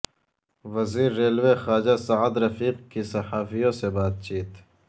وزیر ریلوے خواجہ سعد رفیق کی صحافیوں سے بات چیت